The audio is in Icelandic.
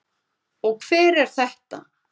Og hver er þetta?